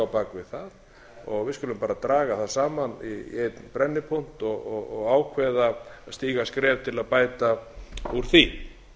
það við skulum bara draga það saman í einn brennipunkt og ákveða að stíga skref til að bæta úr því